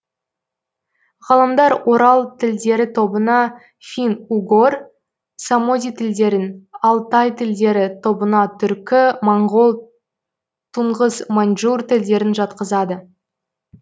ғалымдар орал тілдері тобына фин угор самоди тілдерін алтай тілдері тобына түркі моңғол туңғыс маньчжур тілдерін жатқызады